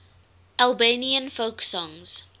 albanian folk songs